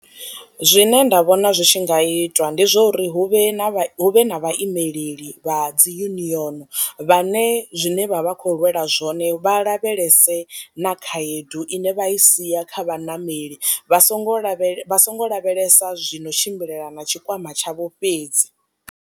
Zwine nda vhona zwi tshi nga itiwa ndi zwa uri hu vhe na hu vhe na vha imeleli vha dzi union vhane zwine vha vha kho lwela zwone vha lavhelese na khaedu ine vha i siya kha vhaṋameli vha songo lavhelela vha songo lavhelesa zwino tshimbilelana na tshikwama tshavho fhedzi.